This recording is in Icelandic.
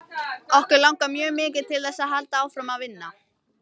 Okkur langar mjög mikið til þess að halda áfram að vinna.